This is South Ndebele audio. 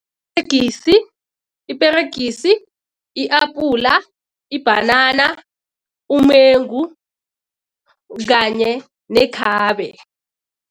Iperegisi, i-apula, ibhanana, umengu kanye nekhabe.